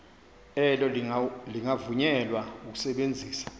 elo lingavunyelwa ukusebenzisa